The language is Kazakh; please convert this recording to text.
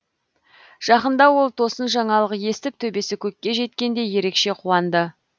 жақында ол тосын жаңалық естіп төбесі көкке жеткендей ерекше қуанды